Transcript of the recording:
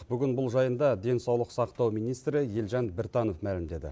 бүгін бұл жайында денсаулық сақтау министрі елжан біртанов мәлімдеді